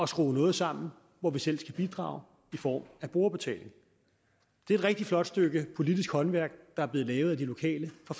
skrue noget sammen hvor vi selv skal bidrage i form af brugerbetaling det er et rigtig flot stykke politisk håndværk der er blevet lavet af de lokale fra